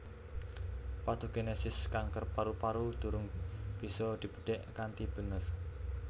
Patogenesis kanker paru paru durung bisa dibedhek kanthi bener